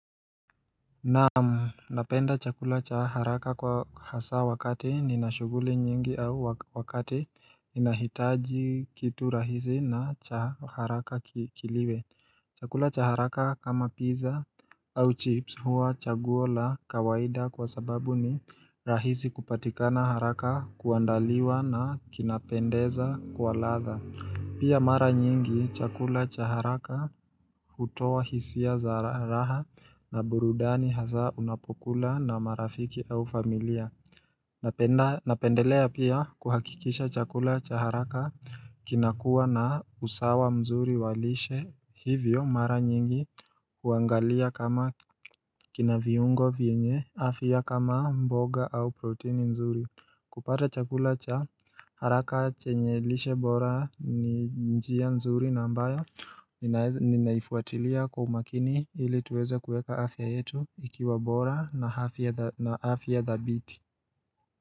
Naam, napenda chakula cha haraka kwa hasa wakati nina shuguli nyingi au wakati inahitaji kitu rahisi na cha haraka kiliwe Chakula cha haraka kama pizza au chips huwa chaguo la kawaida kwa sababu ni rahisi kupatikana haraka kuandaliwa na kinapendeza kwa ladha Pia mara nyingi chakula cha haraka hutoa hisia za raha na burudani hasa unapokula na marafiki au familia Napendelea pia kuhakikisha chakula cha haraka kinakua na usawa mzuri wa lishe hivyo mara nyingi huangalia kama kina viungo vienye afya kama mboga au protini mzuri kupata chakula cha haraka chenye lishe bora ni njia nzuri na ambayo ninaifuatilia kwa umakini ili tuweze kueka afya yetu ikiwa bora na afya dhabiti.